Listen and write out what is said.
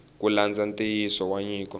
ku landza nxiyisiso wa nyiko